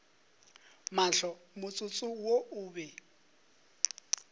mahlo motsotso wo o be